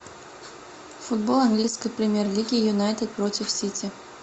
футбол английской премьер лиги юнайтед против сити